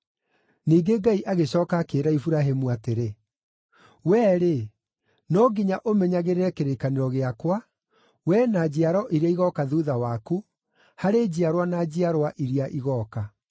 Ningĩ Ngai agĩcooka akĩĩra Iburahĩmu atĩrĩ, “Wee-rĩ, no nginya ũmenyagĩrĩre kĩrĩkanĩro gĩakwa, wee na njiaro iria igooka thuutha waku, harĩ njiarwa na njiarwa iria igooka.